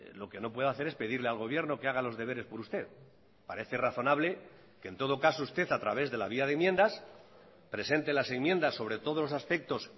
lo que no puede hacer es pedirle al gobierno que haga los deberes por usted parece razonable que en todo caso usted a través de la vía de enmiendas presente las enmiendas sobre todos los aspectos